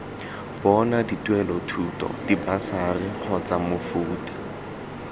bona dituelelothuto dibasari kgotsa mofuta